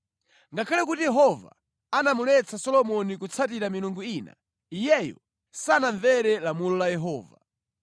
Ngakhale kuti Yehova anamuletsa Solomoni kutsatira milungu ina, iyeyo sanamvere lamulo la Yehova.